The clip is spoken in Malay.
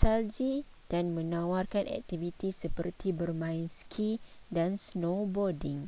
salji dan menawarkan aktiviti seperti bermain ski dan snowboarding